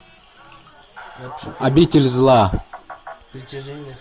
обитель зла